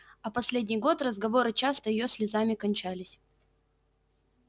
а последний год разговоры часто её слезами кончались